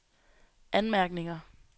anmærkninger